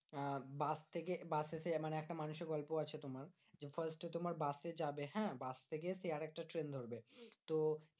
আহ bus থেকে বাসে এসে মানে একটা মানুষের গল্প আছে তোমার, তোমার বাসে যাবে হ্যাঁ? বাস থেকে সে আরেকটা ট্রেন ধরবে তো